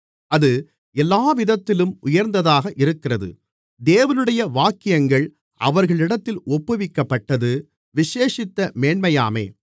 அது எல்லாவிதத்திலும் உயர்ந்ததாக இருக்கிறது தேவனுடைய வாக்கியங்கள் அவர்களிடத்தில் ஒப்புவிக்கப்பட்டது விசேஷித்த மேன்மையாமே